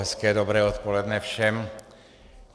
Hezké dobré odpoledne všem.